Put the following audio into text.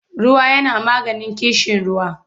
Ruwa yana maganin ƙishiruwa.